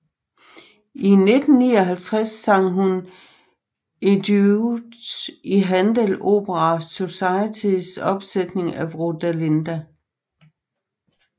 I 1959 sang hun Eduige i Handel Opera Societys opsætning af Rodelinda